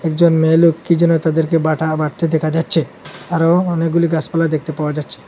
একজন মেয়ে লোক কী যেন তাদেরকে বাটা বাটতে দেখা যাচ্চে আরো অনেকগুলি গাসপালা দেখতে পাওয়া যাচ্চে ।